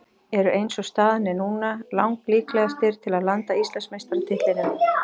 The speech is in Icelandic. Eru eins og staðan er núna lang líklegastir til að landa Íslandsmeistaratitlinum.